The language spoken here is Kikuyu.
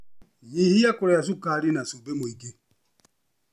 Nyihia kũrĩa cukari na cumbĩ mũingĩ.